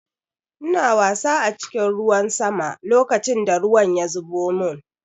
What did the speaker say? Ina wasa a cikin ruwan sama lokacin da ruwan ya zubo mun.